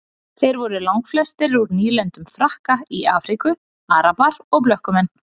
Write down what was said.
Þeir voru langflestir úr nýlendum Frakka í Afríku, arabar og blökkumenn.